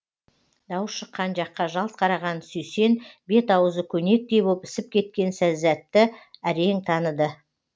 дауыс шыққан жаққа жалт қараған сүйсен бет ауызы көнектей боп ісіп кеткен сәззәтті әрең таныды